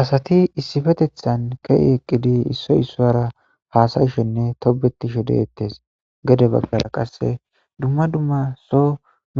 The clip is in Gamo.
Asati issipetethan eqqidi issoy issuwara haasayishenne tobetishe deettes. Gede baggara qassi dumma dumma so